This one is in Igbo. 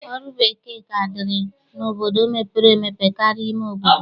Ọrụ bekee ka dịrị n'obodo mepere emepe karịa ime obodo.